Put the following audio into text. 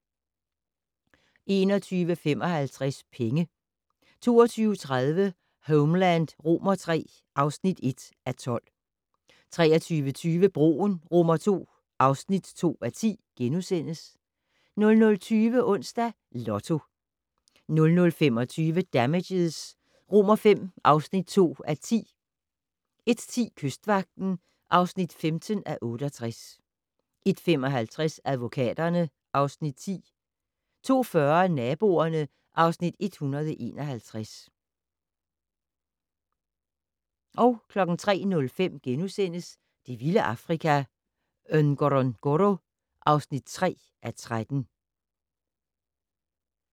21:55: Penge 22:30: Homeland III (1:12) 23:20: Broen II (2:10)* 00:20: Onsdags Lotto 00:25: Damages V (2:10) 01:10: Kystvagten (15:68) 01:55: Advokaterne (Afs. 10) 02:40: Naboerne (Afs. 151) 03:05: Det vilde Afrika - Ngorongoro (3:13)*